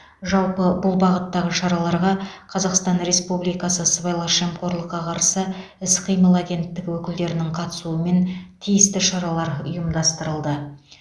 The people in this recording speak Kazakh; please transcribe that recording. жалпы бұл бағыттағы шараларға қазақстан республикасы сыбайлас жемқорлыққа қарсы іс қимыл агенттігі өкілдерінің қатысумен тиісті шаралар ұйымдастырылды